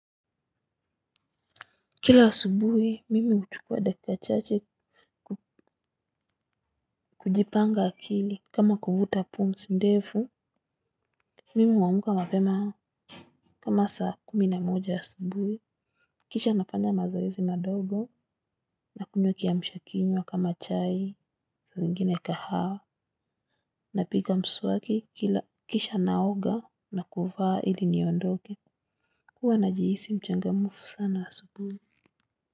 Kila asubuhi mimi uchukuwa dakika chache kujipanga akili kama kuvuta pumzi ndefu. Mimi wamuka mapema. Kama saa kumina moja asubuhi kisha nafanya mazoezi madogo nakunywa kiyamshakinywa kama chai saa zingine kahawa. Napiga mswaki kila kisha naoga na kuvaa ili niondoge huwa najihisi mchangamufu sana asubuhi.